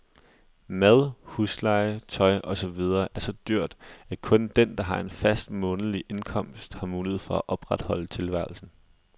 Mad, husleje, tøj og så videre er så dyrt, at kun den, der har en fast, månedlig indkomst, har mulighed for at opretholde tilværelsen.